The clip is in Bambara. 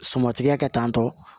Suman tigɛ kɛ tan tɔ